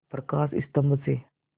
प्रकाश स्तंभ से